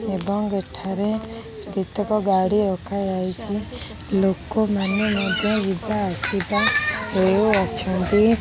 ଏବଂ ଏଠାରେ କେତେକ ଗାଡ଼ି ରଖା ଯାଇଚି। ଲୋକମାନେ ମଧ୍ୟ ଯିବା ଆସିବା ହେଉ ଅଛନ୍ତି।